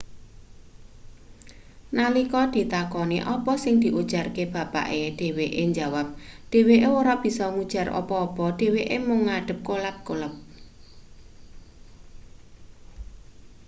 nalika ditakoni apa sing diujarke bapake dheweke njawap dheweke ora bisa ngujar apa-apa dheweke mung ngadeg kelap-kelop